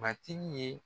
Matigi ye